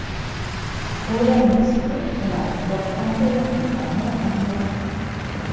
O‘ylaymizki, ular kitobxonga yaqindan yordam beradi.